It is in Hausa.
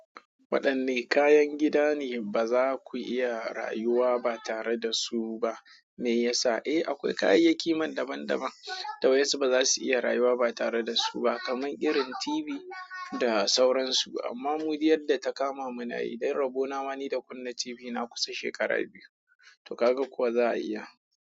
Waɗanne kayan gida ne ba za ku iya rayuwa ba tare da su ba? Me yasa? Eh, akwai kayayyaki man daban-daban da wasu ba za su iya rayuwa ba tare da su ba, kamar irin TV da sauransu. Amma mu duk yar da ta kama mu na yi ɗan rabo, na ma ni da kunna TV na kusa shekaru biyu, to ka ga kuwa za a iya.